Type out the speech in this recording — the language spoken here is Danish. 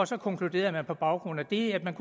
så konkluderede man på baggrund af det at man